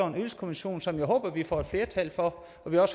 ydelseskommission som vi håber at vi får flertal for